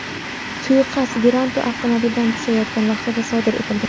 Suiqasd Viranto avtomobildan tushayotgan vaqtida sodir etilgan.